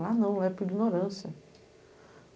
Lá não, é por ignorância.